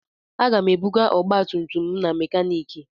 Aga m ebuga ọgbatumtum m na mekaniiki.